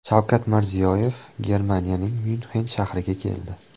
Shavkat Mirziyoyev Germaniyaning Myunxen shahriga keldi.